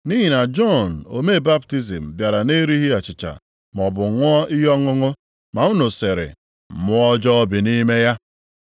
Nʼihi na Jọn omee baptizim bịara na-erighị achịcha maọbụ ṅụọ ihe ọṅụṅụ ma unu sịrị, ‘Mmụọ ọjọọ bi nʼime ya.’